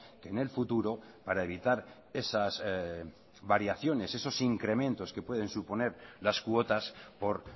que en el futuro para evitar esas variaciones esos incrementos que pueden suponer las cuotas por